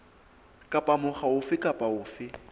kapa mokga ofe kapa ofe